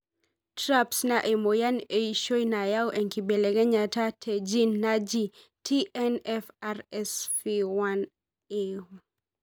TRAPS na emoyian eishoi nayau enkibeleknyata te gene naaji. TNFRSF1A.